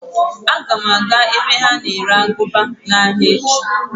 Aga m aga ebe ha na-ere aguba n'ahịa echi.